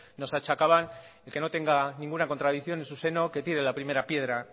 nos achacaban el que no tenga ninguna contradicción en su seno que tire la primera piedra